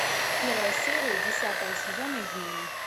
первая серия десятого сезона измены